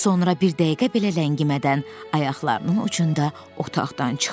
Sonra bir dəqiqə belə ləngimədən ayaqlarının ucunda otaqdan çıxdı.